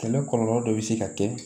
Kɛlɛ kɔlɔlɔ dɔ bɛ se ka kɛ